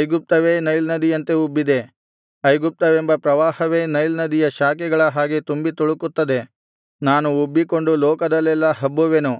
ಐಗುಪ್ತವೇ Nile ನದಿಯಂತೆ ಉಬ್ಬಿದೆ ಐಗುಪ್ತವೆಂಬ ಪ್ರವಾಹವೇ ನೈಲ್ ನದಿಯ ಶಾಖೆಗಳ ಹಾಗೆ ತುಂಬಿ ತುಳುಕುತ್ತದೆ ನಾನು ಉಬ್ಬಿಕೊಂಡು ಲೋಕದಲ್ಲೆಲ್ಲಾ ಹಬ್ಬುವೆನು